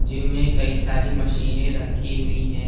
Gym में कई सारी मशीनें रखी हुई हैं।